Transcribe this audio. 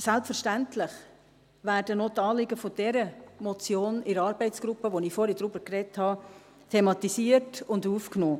Selbstverständlich werden auch die Anliegen dieser Motion in der Arbeitsgruppe, über die ich vorhin gesprochen habe, thematisiert und aufgenommen.